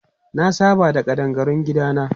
Na saba da ƙadangarun gidana.